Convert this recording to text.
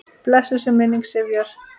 Blessuð sé minning Sifjar.